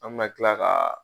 An bɛna tila ka